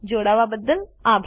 જોડાવા બદ્દલ આભાર